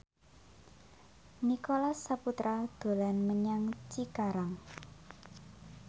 Nicholas Saputra dolan menyang Cikarang